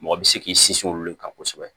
Mɔgɔ bɛ se k'i sinsin olu de kan kosɛbɛ